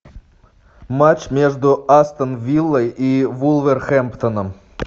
матч между астон виллой и вулверхэмптоном